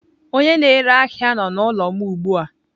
Onye na-ere ahia nọ n'ụlọ m ugbu a.